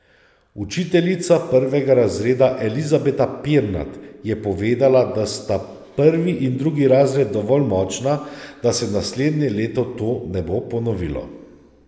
Učiteljica prvega razreda Elizabeta Pirnat je povedala, da sta prvi in drugi razred dovolj močna, da se naslednje leto to ne bo ponovilo.